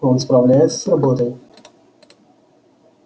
он справляется с работой